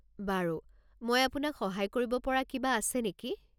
বাৰু, মই আপোনাক সহায় কৰিব পৰা কিবা আছে নেকি?